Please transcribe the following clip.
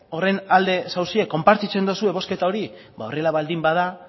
horren alde zaudete konpartitzen duzue bozketa hori ba horrela baldin bada